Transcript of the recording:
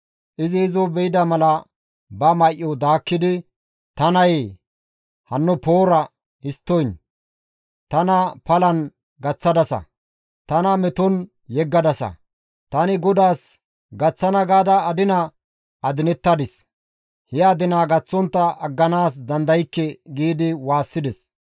Izi izo be7ida mala ba may7o daakkidi, «Ta nayee hanno poora histtoyn! Tana palan gaththadasa! Tana meton yeggadasa! Tani GODAAS gaththana gaada adina adinettadis; he adinaa gaththontta agganaas dandaykke!» giidi waassides.